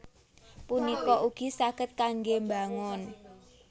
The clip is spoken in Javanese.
punika ugi saged kanggé mbangun